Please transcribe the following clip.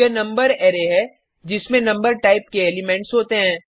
यह number array है जिसमें नम्बर टाइप के एलिमेंट्स होते हैं